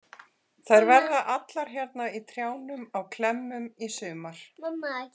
Þær verða allar hérna í trjánum á klemmum í sumar.